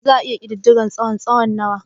Za a iya ƙididdige tsawonsa/ tsawon nawa?